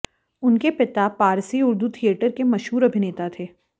उनके पिता पारसी उर्दू थियेटर के मशहूर अभिनेता थे